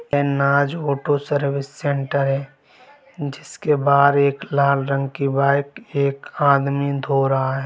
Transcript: ये Naaz auto service centre है जिसके बाहर एक लाल रंग की बाइक एक आदमी धो रहा है।